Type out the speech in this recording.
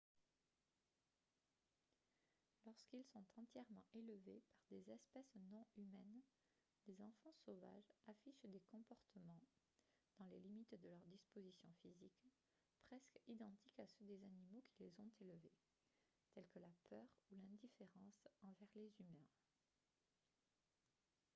lorsqu'ils sont entièrement élevés par des espèces non humaines les enfants sauvages affichent des comportements dans les limites de leurs dispositions physiques presque identiques à ceux des animaux qui les ont élevés tels que la peur ou l'indifférence envers les humains